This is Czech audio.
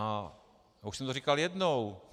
A už jsem to říkal jednou.